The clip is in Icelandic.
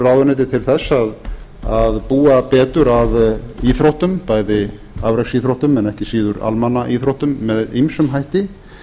ráðuneyti til að búa betur að íþróttum bæði afreksíþróttum en ekki síður almannaíþróttum með ýmsum hætti